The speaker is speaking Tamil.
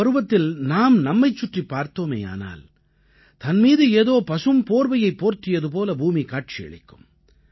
இந்தப் பருவத்தில் நாம் நம்மைச் சுற்றிப் பார்த்தோமேயானால் தன் மீது ஏதோ பசும் போர்வையைப் போர்த்தியது போல பூமி காட்சியளிக்கும்